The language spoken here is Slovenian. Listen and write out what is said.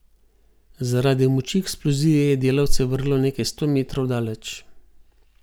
Zaradi moči eksplozije je delavce vrglo nekaj sto metrov daleč.